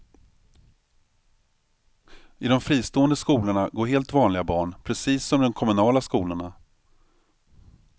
I de fristående skolorna går helt vanliga barn, precis som i de kommunala skolorna.